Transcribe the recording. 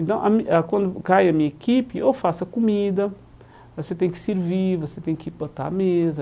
Então, ah quando cai a minha equipe, eu faço a comida, você tem que servir, você tem que botar a mesa,